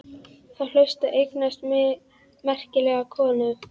Þá hlaustu að eignast merkilega konu.